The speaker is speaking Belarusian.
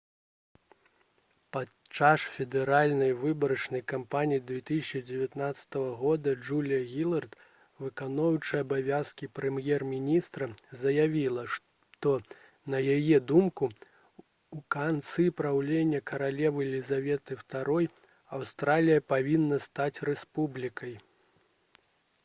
падчас федэральнай выбарчай кампаніі 2010 года джулія гілард выконваючая абавязкі прэм'ер-міністра заявіла што на яе думку у канцы праўлення каралевы лізаветы ii аўстралія павінна стаць рэспублікай